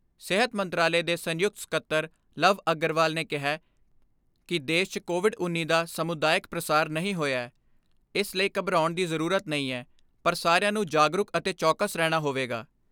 ਸਿਹਤ ਮੰਤਰਾਲੇ ਦੇ ਸੰਯੁਕਤ ਸਕੱਤਰ ਲਵ ਅਗਰਵਾਲ ਨੇ ਕਿਹੈ ਕਿ ਦੇਸ਼ 'ਚ ਕੋਵਿਡ ਉੱਨੀ ਦਾ ਸਮੁਦਾਇਕ ਪ੍ਰਸਾਰ ਨਹੀਂ ਹੋਇਐ, ਇਸ ਲਈ ਘਬਰਾਉਣ ਦੀ ਜ਼ਰੂਰਤ ਨਹੀਂ ਐ, ਪਰ ਸਾਰਿਆਂ ਨੂੰ ਜਾਗਰੂਕ ਅਤੇ ਚੌਕਸ ਰਹਿਣਾ ਹੋਵੇਗਾ।